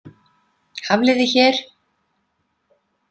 Hafliði hér.